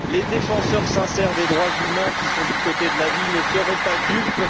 Les défenseurs sincères des droits de l'homme qui sont du côté de la vie ne seront pas dupes.